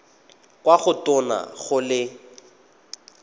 kwa go tona go le